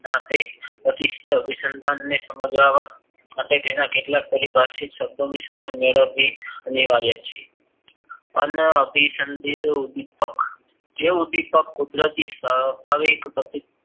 ના તે પ્રતિસ્થ અભિસંદન ને સમજાવવા કેટલાક પરિભાષી શબ્દોની સમાજ મેળવી અનિવાર્ય છે અનાભિસંદિત ઉદ્વિપક જે ઉદ્વિપક કુદરતી સ્વાભાવીક